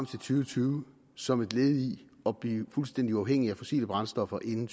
tusind og tyve som et led i at blive fuldstændig uafhængig af fossile brændstoffer inden